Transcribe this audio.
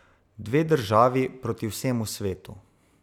Dve državi proti vsemu svetu?